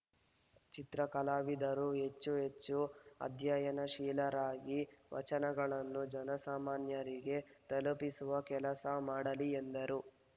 ಚಿತ್ರಕಲಾವಿದರು ಹೆಚ್ಚು ಹೆಚ್ಚು ಅಧ್ಯಯನಶೀಲರಾಗಿ ವಚನಗಳನ್ನು ಜನಸಾಮಾನ್ಯರಿಗೆ ತಲುಪಿಸುವ ಕೆಲಸ ಮಾಡಲಿ ಎಂದರು